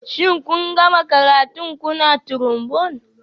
Shin kun gama karatun ku na Trombone?